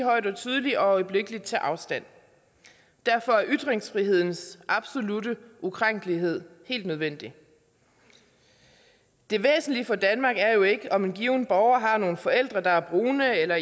højt og tydeligt og øjeblikkeligt tage afstand derfor er ytringsfrihedens absolutte ukrænkelighed helt nødvendig det væsentlige for danmark er jo ikke om en given borger har nogle forældre der er brune eller